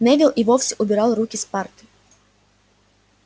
невилл и вовсе убрал руки с парты